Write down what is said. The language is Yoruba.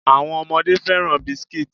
Àwọn ọmọdé fẹ́ràn biscuits.